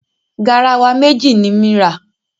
Garawa méjì ni m ra.